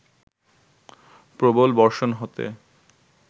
প্রবল বর্ষণ হতে